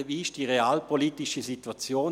Wie ist die realpolitische Situation?